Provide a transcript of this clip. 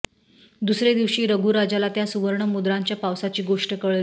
दुसरे दिवशी रघुराजाला त्या सुवर्ण मुद्रांच्या पावसाची गोष्ट कळली